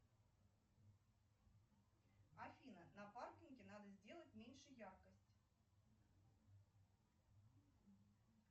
афина на паркинге надо сделать меньше яркость